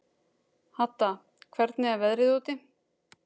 Hadda, hvernig er veðrið úti?